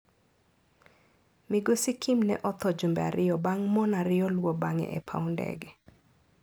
Migosi Kim ne otho jumbe ariyo bang' mon ariyo luwo bang'e e paw ndege.